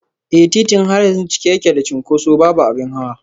Eh, titin har yanzu cike yake da cunkoso, babu abin hawa